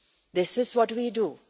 This is what we do.